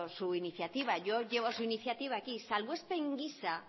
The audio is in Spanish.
su iniciativa yo llevo su iniciativa aquí salbuespen gisa